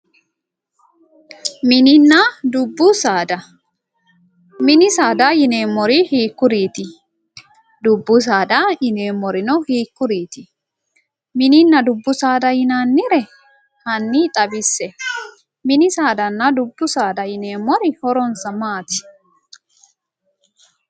Mininna dubbu saada. Mini saada yineemmori hiikkuriiti? Dubbu saada yineemmorino hiikuriiti? Mininna dubbu saada yinaannire hanni xawisse. Mininna dubbu saada yineemmori horonsa maati?